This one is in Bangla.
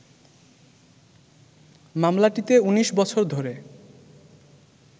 মামলাটিতে ১৯ বছর ধরে